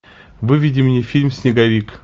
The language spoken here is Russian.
выведи мне фильм снеговик